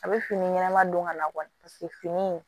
A bɛ fini ɲɛnama don ka na paseke fini in